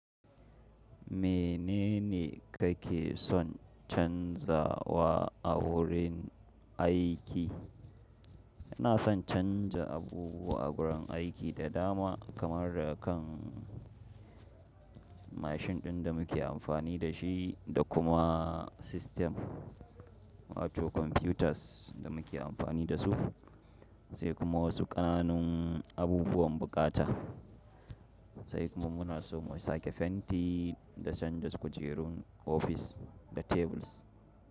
Menene kake son canzawa a wurin aiki? Ina son canza abubuwa a gurin aiki da dama kamar da kan mashin ɗin da muke amfani da shi da kuma sistem, wato computers da muke amfani da su, sai kuma wasu ƙananun abubuwan buƙata. Sai kuma muna so mu sake fenti da canja kujerun ofis da tables.